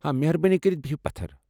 مہربٲنی کٔرتھ بہہ پتھر۔